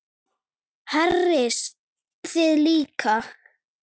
Hersir: Þið líka?